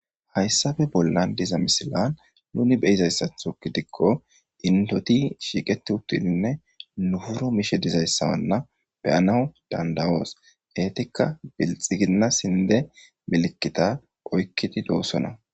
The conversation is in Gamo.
hayssafe bollan diza misilan nuni be izayssatho gidikko intoti shiiqeti uttininne nufuro mishe dizayssawanna beyanawu dandawoos eetikka bilxiginna sinde milkita oykkidi doossona